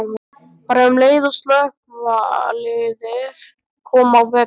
Bara um leið og slökkviliðið kom á vettvang.